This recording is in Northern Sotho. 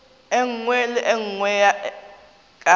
nngwe le ye nngwe ka